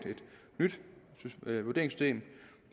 nyt vurderingssystem